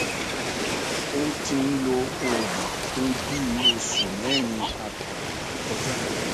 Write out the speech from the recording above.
ó ti ń lo òògùn fún bí i oṣù mẹrin àtààbọ tó kọjá